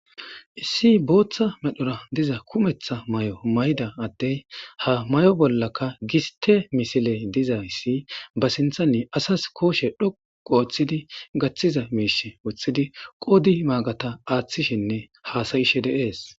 Issi bootha medhora diza kumetha mayo mayida addey ha mayo bollaka giste misile dizayssi ba sinthani asas kushe dhoqqu othidi gathiza miishe wothodi qoodi maagata aathishenne haasa'ishe dees.